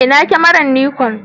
Ina kyamarar Nikon?